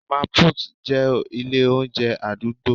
mama put' jẹ ilé oúnjẹ adugbo